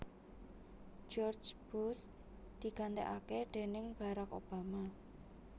George Bush digantèkaké déning Barack Obama